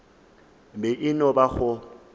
be e no ba go